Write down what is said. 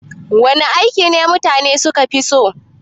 Wana aiki mutane suka fi so?